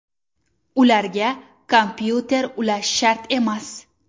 Ularga kompyuter ulash shart emas.